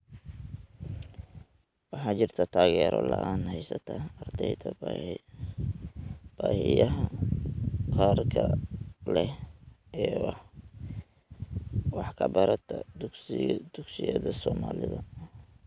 Waxaa jirta taageero la�aan haysata ardayda baahiyaha gaarka ah leh ee wax ka barata dugsiyada Soomaalida.